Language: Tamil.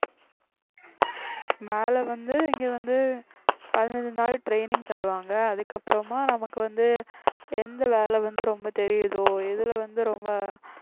வேலை வந்து இங்க வந்து பதினஞ்சு நாள் training தருவாங்க அதுக்கப்புறமா நமக்கு வந்து எந்த வேலை வந்து ரொம்ப தெரியுதோ எதுல வந்து ரொம்ப